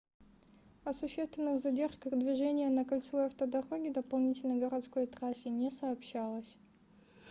о существенных задержках движения на кольцевой автодороге дополнительной городской трассе не сообщалось